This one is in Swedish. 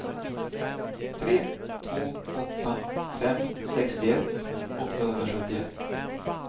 tre två åtta fem sextioett åttahundrasjuttioett